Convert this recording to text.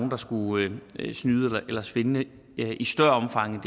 der skulle snyde eller svindle i større omfang